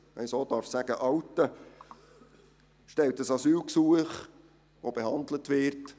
Irgendwann «outet» er sich und stellt ein Asylgesuch, welches behandelt wird.